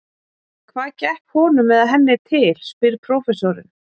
Hvað gekk honum eða henni til? spyr prófessorinn.